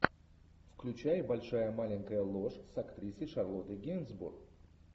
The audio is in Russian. включай большая маленькая ложь с актрисой шарлоттой генсбур